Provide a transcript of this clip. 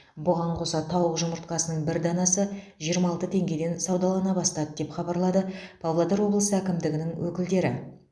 бұған қоса тауық жұмыртқасының бір данасы жиырма алты теңгеден саудалана бастады деп хабарлады павлодар облысы әкімдігінің өкілдері